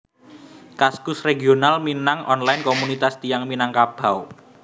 Kaskus Regional Minang Online Komunitas tiyang Minangkabau